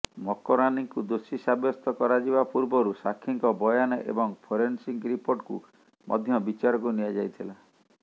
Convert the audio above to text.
ମକରାନିଙ୍କୁ ଦୋଷୀ ସାବ୍ୟସ୍ତ କରାଯିବା ପୂର୍ବରୁ ସାକ୍ଷୀଙ୍କ ବୟାନ ଏବଂ ଫୋରେନ୍ସିକ୍ ରିପୋର୍ଟକୁ ମଧ୍ୟ ବିଚାରକୁ ନିଆଯାଇଥିଲା